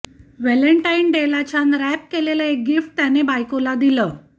Valentine डेला छान wrap केलेलं एक गिफ्ट त्याने बायकोला दिलं